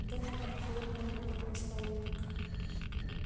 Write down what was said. донован хлопнул рукой по столу